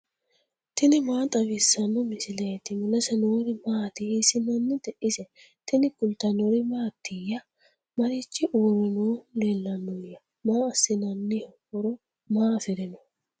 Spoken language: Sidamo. tini maa xawissanno misileeti ? mulese noori maati ? hiissinannite ise ? tini kultannori mattiya? Marichi uure noohu leellannoya? Maa assinnanniho? horo maa afirinno?